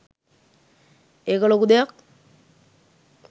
ඒක ලොකු දෙයක්